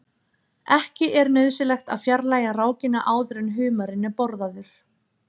Ekki er nauðsynlegt að fjarlægja rákina áður en humarinn er borðaður.